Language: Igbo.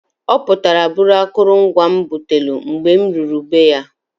Ọ putara buru akụlu mgwa m butalụ, mgbe m ruru be ya.